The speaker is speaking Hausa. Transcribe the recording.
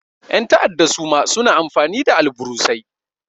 Ƴan ta'adda suma suna amfani da alburusai.